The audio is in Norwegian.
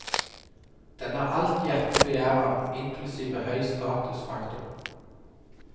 Den har alt hjertet begjærer, inklusive høy statusfaktor.